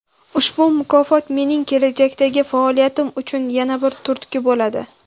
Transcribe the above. Ushbu mukofot mening kelajakdagi faoliyatim uchun yana bir turtki bo‘ladi.